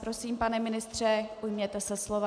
Prosím, pane ministře, ujměte se slova.